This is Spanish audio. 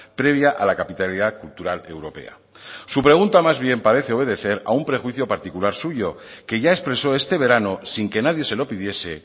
previa a la capitalidad cultural europea su pregunta más bien parece obedecer a un prejuicio particular suyo que ya expresó este verano sin que nadie se lo pidiese